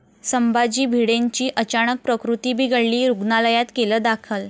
संभाजी भिडेंची अचानक प्रकृती बिघडली, रुग्णालयात केलं दाखल